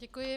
Děkuji.